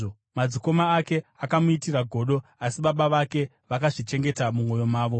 Madzikoma ake akamuitira godo, asi baba vake vakazvichengeta mumwoyo mavo.